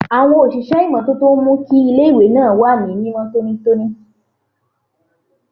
Àwọn òṣìṣẹ́ ìmọ́tótó ń mú kí iléèwé náà wà ní mímọ́ tónítóní